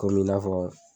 Kɔmi i n'a fɔ